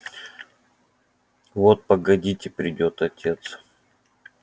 вот погодите придёт отец